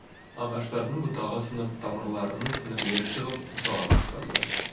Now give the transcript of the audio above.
ағаштардың бұтағы сынып тамырларының сіңірлері шығып жалаңаштанды